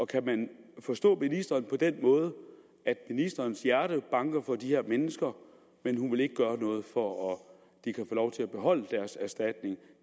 kan man forstå ministeren på den måde at ministerens hjerte banker for de her mennesker men at hun ikke vil gøre noget for at de kan få lov til at beholde deres erstatning